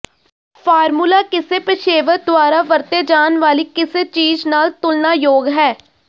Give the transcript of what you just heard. formula ਕਿਸੇ ਪੇਸ਼ੇਵਰ ਦੁਆਰਾ ਵਰਤੇ ਜਾਣ ਵਾਲੀ ਕਿਸੇ ਚੀਜ਼ ਨਾਲ ਤੁਲਨਾਯੋਗ ਹੈ